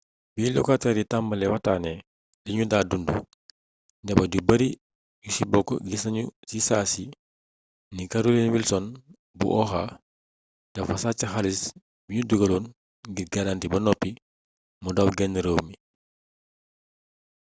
bi lokateer yi tambalee waxtaanee liñu daa dundu njaboot yu bari yu ci bokk gis nañu ci saasi ni carolyn wilson bu oha dafa sàcc xaalis biñu dugaloon ngir garanti ba noppi mu daw genn réew mi